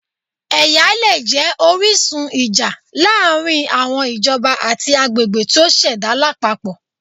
Ẹya le jẹ orisun ija laarin awọn ijọba ati agbegbe ti o ṣẹda lapapọ